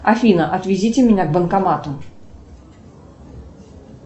афина отвезите меня к банкомату